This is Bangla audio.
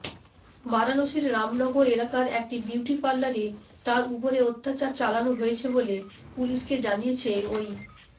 বারাণসীর রামনগর এলাকার একটি বিউটি পার্লারে তার উপরে অত্যাচার চালানো হয়েছে বলে পুলিশকে জানিয়েছে ওই